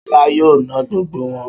Ṣọlá yóò na gbogbo wọn